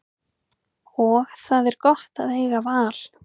Og það er gott að eiga val.